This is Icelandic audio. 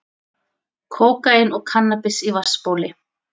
Kókaín og kannabis í vatnsbóli